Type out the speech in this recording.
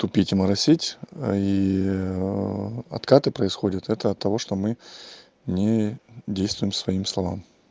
тупить и моросить и откаты происходят это от того что мы не действуем своим словам